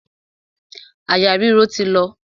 Àyà ríro ti lọ.